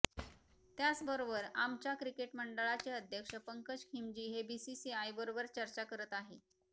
त्याचबरोबर आमच्या क्रिकेट मंडळाचे अध्यक्ष पंकज खिमजी हे बीसीसीआयबरोबर चर्चा करत आहे